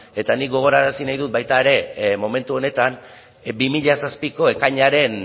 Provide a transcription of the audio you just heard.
eta nik gogorarazi nahi dut baita ere momentu honetan bi mila zazpiko ekainaren